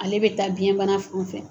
Ale bɛ taa biyɛnbana fɛ.